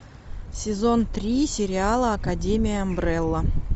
сезон три сериала академия амбрелла